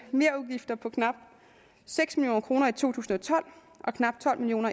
merudgifter på knap seks million kroner i to tusind og tolv og knap tolv million